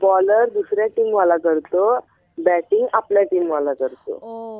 Bowler दुसऱ्या टीमवाला करतो, बॅटिंग आपल्या टीमवाला करतो.